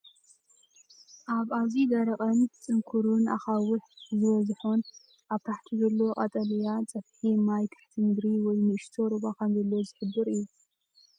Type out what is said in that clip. ኣብ ኣዝዩ ደረቕን ፅንኩርን ኣኻውሕ ዝበዝሖን ኣብ ታሕቲ ዘሎ ቀጠልያ ፅፍሒ ማይ ትሕቲ ምድሪ ወይ ንእሽቶ ሩባ ከምዘሎ ዝሕብር እዩ ።